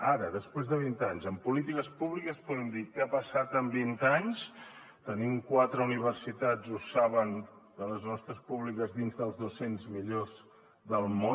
ara després de vint anys en polítiques públiques podem dir què ha passat en vint anys tenim quatre universitats ho saben de les nostres públiques dins de les dos cents millors del món